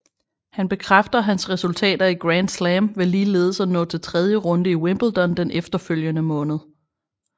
Han bekræfter hans resultater i Grand Slam ved ligeledes at nå til tredje runde i Wimbledon den efterfølgende måned